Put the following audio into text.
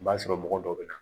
I b'a sɔrɔ mɔgɔ dɔw be na